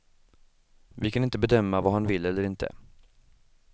Vi kan inte bedöma vad han vill eller inte.